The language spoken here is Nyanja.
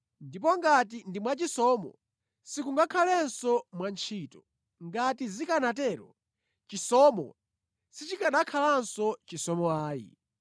Ndipo ngati ndi mwachisomo, sikungakhalenso mwa ntchito. Ngati zikanatero, chisomo sichikanakhalanso chisomo ayi.